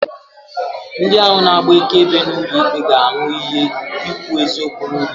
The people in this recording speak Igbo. Ndi ahụ na-agba akaebe n'ulo ikpe ga-aṅụ iyi ikwu eziokwu n'ulo ikpe.